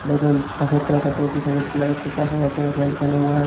एकदम सफेद कलर का टोपी सफेद कलर का कुर्ता सफेद कलर का पैंट पहना हुआ है।